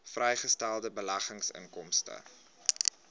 vrygestelde beleggingsinkomste